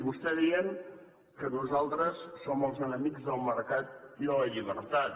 vostès deien que nosaltres som els enemics del mercat i de la llibertat